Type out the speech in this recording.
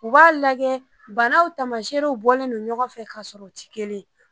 U b'a lagɛ banaw tamaserew bɔlen don ɲɔgɔnfɛ ka sɔrɔ u ti kelen ye.